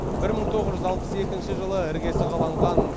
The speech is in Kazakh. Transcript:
бір мың тоғыз жүз алпыс екінші жылы іргесі қаланған